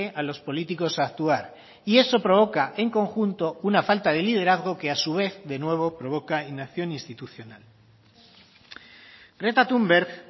a los políticos a actuar y eso provoca en conjunto una falta de liderazgo que a su vez de nuevo provoca inacción institucional greta thunberg